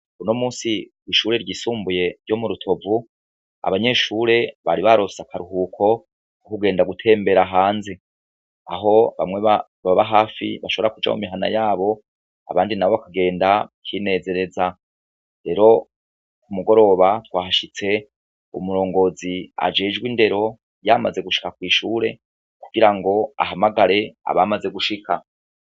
Buno musi w'ishure ryisumbuye ryo mu rutovu abanyeshure bari barosa akaruhuko uko ugenda gutembera hanze aho bamwe baba hafi bashobora kuja mu mihana yabo abandi na bo akagenda ukinezereza rero ku mugoroba twahashitse umurongozi ajijwe iwe indero yamaze gushika kw'ishure kugira ngo ahamagare abamaze gushika.